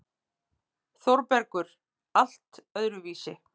ÞÓRBERGUR: Allt öðruvísi.